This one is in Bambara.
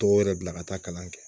Dɔw yɛrɛ bila ka taa kalan kɛ